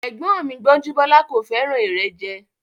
Ẹ̀gbọ́n mi Gbọ́njúbọ́lá kò fẹ́ràn ìrẹ́jẹ